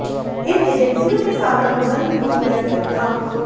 इन एजेंसियों के साथ अनुबंध भी किया गया था